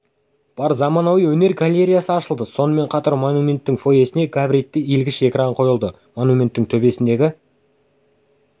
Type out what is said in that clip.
бар заманауи өнер галереясы ашылды сонымен қатар монументтің фойесіне габаритті иілгіш экран қойылды монументтің төбесіндегі